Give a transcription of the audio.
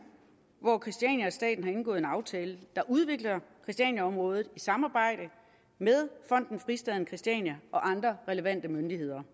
hvor christiania og staten har indgået en aftale der udvikler christianiaområdet i samarbejde med fonden fristaden christiania og andre relevante myndigheder